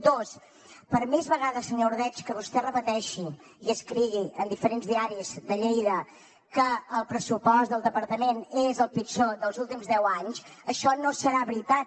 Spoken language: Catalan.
dos per més vegades senyor ordeig que vostè repeteixi i escrigui en diferents diaris de lleida que el pressupost del departament és el pitjor dels últims deu anys això no serà veritat